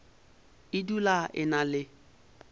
e dula e na le